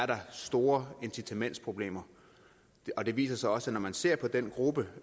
der store incitamentsproblemer og det viser sig også at når man ser på den gruppe